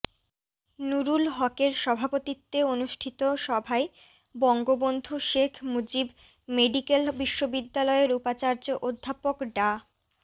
নূরুল হকের সভাপতিত্বে অনুষ্ঠিত সভায় বঙ্গবন্ধু শেখ মুজিব মেডিকেল বিশ্ববিদ্যালয়ের উপাচার্য অধ্যাপক ডা